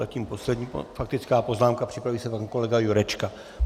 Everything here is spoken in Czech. Zatím poslední faktická poznámka, připraví se pan kolega Jurečka.